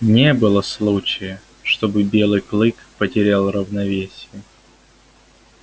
не было случая чтобы белый клык потерял равновесие